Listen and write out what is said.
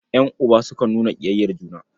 Ƴan'uba sukan nuna ƙiyayyar juna.